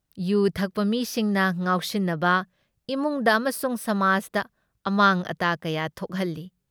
U ꯊꯛꯄ ꯃꯤꯁꯤꯡꯅ ꯉꯥꯎꯁꯤꯟꯅꯕ ꯏꯃꯨꯡꯗ ꯑꯃꯁꯨꯡ ꯁꯃꯥꯖꯗ ꯑꯃꯥꯡ ꯑꯇꯥ ꯀꯌꯥ ꯊꯣꯛꯍꯜꯂꯤ ꯫